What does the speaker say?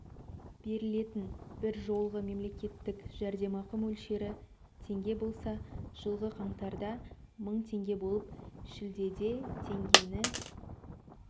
берілетін бір жолғы мемлекеттік жәрдемақы мөлшері теңге болса жылғы қаңтарда мың теңге болып шілдеде теңгені